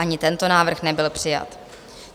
Ani tento návrh nebyl přijat.